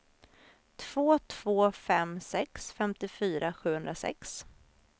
två två fem sex femtiofyra sjuhundrasex